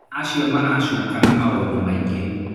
Acio maracukana maũndũ maingĩ.